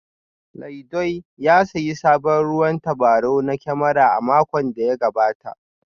Laidoi ya sayi sabon ruwan tabarau na kyamara a makon da ya gabata